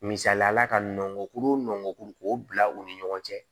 Misaliyala ka nɔngɔn kuru nɔngɔn k'o bila u ni ɲɔgɔn cɛ